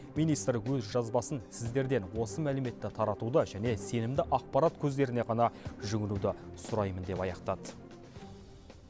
министр өз жазбасын сіздерден осы мәліметті таратуды және сенімді ақпарат көздеріне ғана жүгінуді сұраймын деп аяқтады